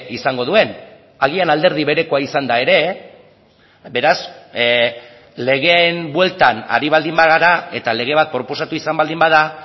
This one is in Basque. izango duen agian alderdi berekoa izanda ere beraz legeen bueltan ari baldin bagara eta lege bat proposatu izan baldin bada